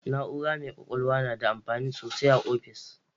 Na'ura mai kwakwalwa na da amfani sosai ah offis